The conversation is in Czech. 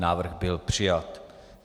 Návrh byl přijat.